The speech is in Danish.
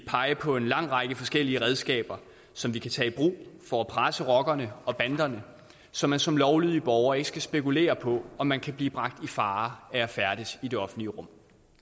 pege på en lang række forskellige redskaber som vi kan tage i brug for at presse rockerne og banderne så man som lovlydig borger ikke skal spekulere på om man kan blive bragt i fare ved at færdes i det offentlige rum